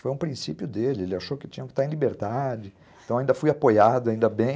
Foi um princípio dele, ele achou que tinha que estar em liberdade, então ainda fui apoiado, ainda bem.